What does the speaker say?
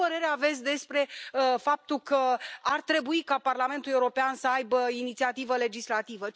Ce părere aveți despre faptul că ar trebui ca Parlamentul European să aibă inițiativă legislativă?